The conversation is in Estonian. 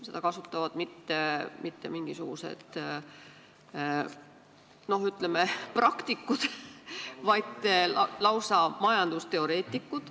Seda ei kasuta mitte mingisugused, ütleme, praktikud, vaid lausa majandusteoreetikud.